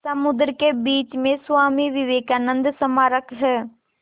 समुद्र के बीच में स्वामी विवेकानंद स्मारक है